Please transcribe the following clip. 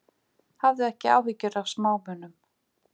Hafðu ekki áhyggjur af smámunum.